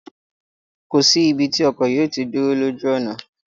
Kò sí ibi tí ọkọ̀ yóò tí dúró ní ojú ọ̀nà